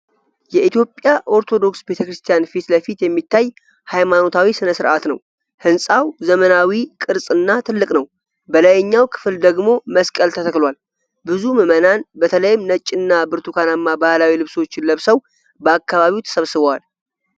የኢትዮጵያ ኦርቶዶክስ ቤተ ክርስቲያን ፊት ለፊት የሚታይ ሃይማኖታዊ ሥነ ሥርዓትን ነው። ሕንፃው ዘመናዊ ቅርፅ እና ትልቅ ነው፤ በላይኛው ክፍል ደግሞ መስቀል ተተክሏል። ብዙ ምዕመናን፣ በተለይም ነጭ እና ብርቱካናማ ባህላዊ ልብሶችን ለብሰው፣ በአካባቢው ተሰብስበዋል።